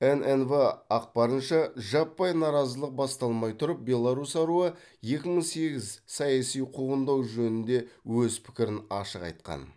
ннв ақпарынша жаппай наразылық басталмай тұрып беларусь аруы екі мың сегіз саяси қуғындау жөнінде өз пікірін ашық айтқан